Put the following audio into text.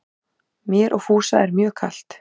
Mér og Fúsa mjög er kalt